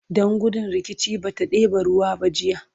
Dan gudun rikici bata ɗeba ruwan ba jiya